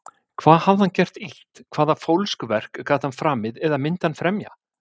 Hvað hafði hann gert illt- hvaða fólskuverk gat hann framið, eða myndi hann fremja?